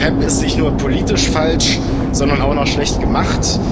Doch PEPP ist nicht nur politisch falsch, sondern auch noch schlecht gemacht.